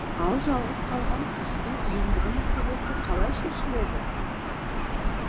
ал жалғыз қалған құстың ендігі мәселесі қалай шешіледі